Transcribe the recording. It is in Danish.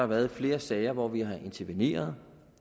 været flere sager hvor vi har interveneret